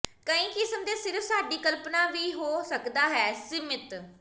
ਕਈ ਕਿਸਮ ਦੇ ਸਿਰਫ ਸਾਡੀ ਕਲਪਨਾ ਵੀ ਹੋ ਸਕਦਾ ਹੈ ਸੀਮਿਤ